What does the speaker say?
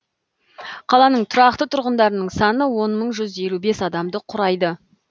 қаланың тұрақты тұрғындарының саны он мың жүз елу бес адамды құрайды